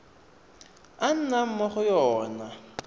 a nnang mo go yona